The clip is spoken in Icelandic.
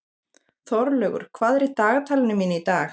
Þorlaugur, hvað er í dagatalinu mínu í dag?